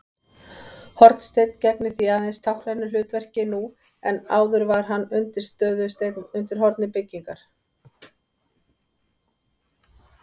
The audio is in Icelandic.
Hornsteinn gegnir því aðeins táknrænu hlutverki nú en áður var hann undirstöðusteinn undir horni byggingar.